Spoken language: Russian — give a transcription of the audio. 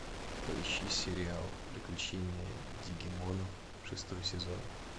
поищи сериал приключения дигимонов шестой сезон